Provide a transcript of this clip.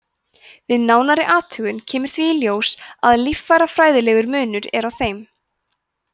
við nánari athugun kemur þó í ljós að líffærafræðilegur munur er á þeim